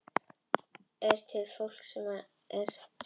Hér er svarað spurningunum: Er til fólk sem er tvíkynja?